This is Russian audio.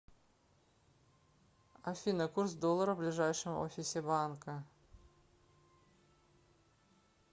афина курс доллара в ближайшем офисе банка